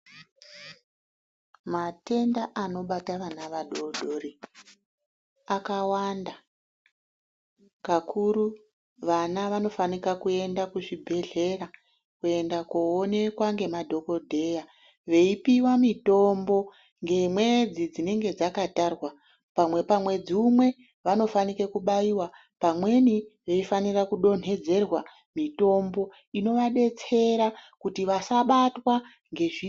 Matenda anobata vana vadoridori akawanda kakuru vana vanofana kuenda kuzvibhehlera kuenda kunoonekwa nemadhokhodheya veipihwa mutombo ngemwedzi dzinenge dzakatarwa pamwedzi umwe vanofanira kubaiwa pamweni vanofanira kudonhedzerwa mitombo inovadetsera kuti vasabatwa ngezvirwere.